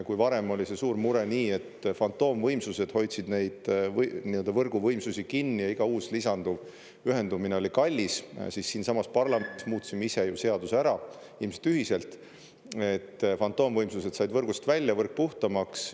Kui varem oli see suur mure, et fantoomvõimsused hoidsid neid võrguvõimsusi kinni ja iga uus lisanduv ühendumine oli kallis, siis siinsamas parlamendis muutsime ise ju seaduse ära, ilmselt ühiselt, et fantoomvõimsused said võrgust välja, võrk puhtamaks.